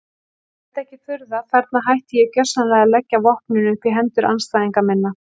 Enda ekki furða, þarna hætti ég gjörsamlega að leggja vopnin upp í hendur andstæðinga minna.